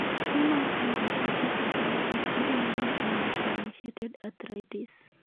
tuo ma idiopathic arthritis iluongo ni undefferentiated arthritis